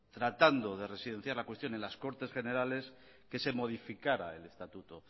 tratando de residenciar la cuestión en las cortes generales que se modificara el estatuto